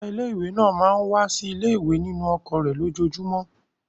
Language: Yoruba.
Ọ̀gá ilé-ìwé máa ń wá sí ilé-ìwé nínú ọkọ̀ rẹ̀ lójoojúmọ́.